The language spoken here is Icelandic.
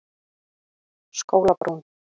Skólabrún